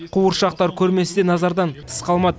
қуыршақтар көрмесі де назардан тыс қалмады